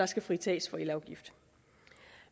skal fritages for elafgift